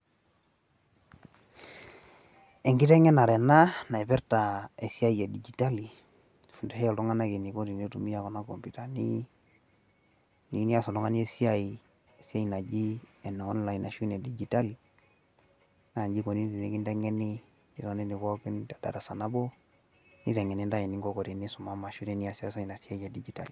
enkiteng'enare ena napirta esiai edigitol isumitai iltung'anak eniko tinitumiya kuna komputani ,tiyieu niyas oltung'ani esiai naaji ene online ashu enedigitali naa iji ikoni teneesi.